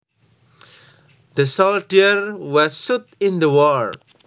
The soldier was shot in the war